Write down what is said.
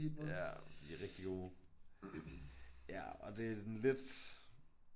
Ja de er rigtige gode. Ja og det lidt